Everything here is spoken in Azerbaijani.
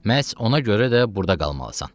Məhz ona görə də burda qalmalısan.